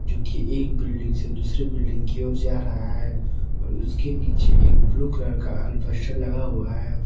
जोकि एक बिल्डिंग से दूसरे बिल्डिंग की ओर जा रहा है और उसके नीचे एक ब्लू कलर का अल्बेस्टर लगा हुआ है।